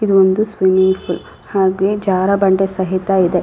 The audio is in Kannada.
ಇದೊಂದು ಸ್ವಿಮ್ಮಿಂಗ್ ಫೂಲ್ ಹಾಗೆ ಜಾರುಬಂಡೆ ಸಹಿತ ಇದೆ.